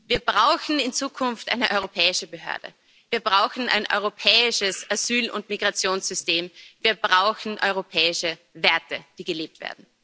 Wir brauchen in Zukunft eine europäische Behörde, wir brauchen ein europäisches Asyl und Migrationssystem, wir brauchen europäische Werte, die gelebt werden!